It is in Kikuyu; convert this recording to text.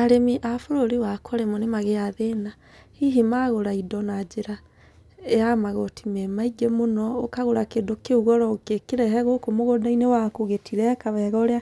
Arĩmi a bũrũri wakwa rĩmwe nĩ magĩaga thĩna, hihi magũra indo na njĩra ya magoti me maingĩ mũno, ũkagũra kĩndũ kĩu goro, ũngĩkĩrehe gũkũ mũgũnda-inĩ waku gĩtireka wega ũrĩa